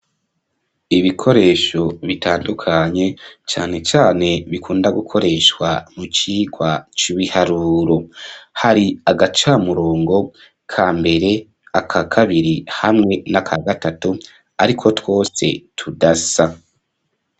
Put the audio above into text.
Ibikoresho, bitandukanye, cane cane, bikunda gukoreshwa, mu cigwa c'ibiharuro; hari agacamurongo ka mbere, aka kabiri, hamwe n'aka gatatu, ariko twose, tudasa.